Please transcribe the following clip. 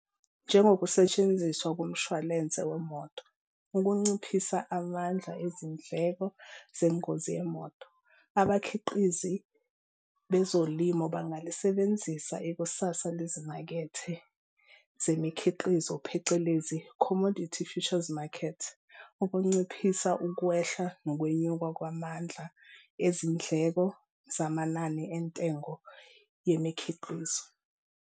Njengokusetshenziswa komshwalense wemoto, ukunciphisa amandla ezindleko zengozi yemonto, abakhiqizi bezolimo bangalisebenzisa ikusasa lezimakethe zemikhiqizo phecelezi-commodity futures market ukunciphisa ukwehla nokwenyuka kwamandla ezindleko zamanani entengo yemikhiqizo.